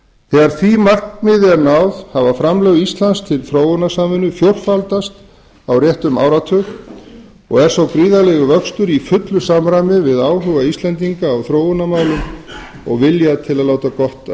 þegar því markmiði verður náð hafa framlög íslands til þróunarsamvinnu fjórfaldast á réttum áratug og er sá gríðarlegi vöxtur í fullu samræmi við aukinn áhuga íslendinga á þróunarmálum og vilja til að láta gott af